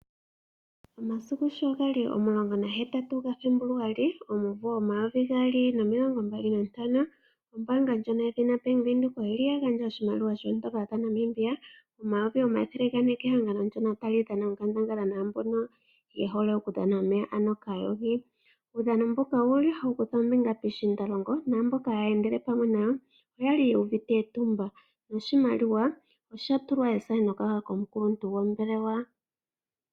Omasiku sho gali omulongo nahetatu gaFebluali omumvo omayovi gaali nomilongo mbali nantano, ombaanga ndjono yedhina Bank Windhoek oyili ya gandja oshimaliwa shoondola dhaNamibia omayovi omathele gane kehangano ndono hali dhana naambono ye hole okudhana omeya, ano kaayogi. Uudhano mbuka owuli hawu kutha ombinga piishiindalongo naamboka haya endele pamwe nayo, oyali yu uvite etumba noshimaliwa osha tulwa ethaneka komukuntu gombelewa.